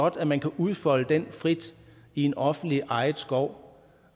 at man kan udfolde det frit i en offentligt ejet skov